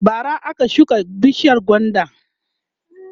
bara aka shuka bishiyar gwandan